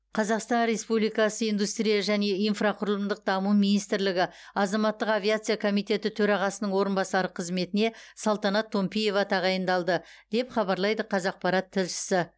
қазақстан республикасы индустрия және инфрақұрылымдық даму министрлігі азаматтық авиация комитеті төрағасының орынбасары қызметіне салтанат томпиева тағайындалды деп хабарлайды қазақпарат тілшісі